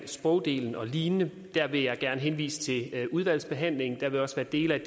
sprogdelen og lignende vil jeg gerne henvise til udvalgsbehandlingen der vil også være dele af